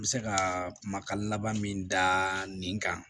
N bɛ se ka kumakan laban min da nin kan